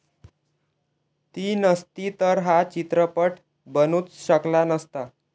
ती नसती तर हा चित्रपट बनूच शकला नसता.